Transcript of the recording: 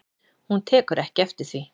Hún tekur ekki við því.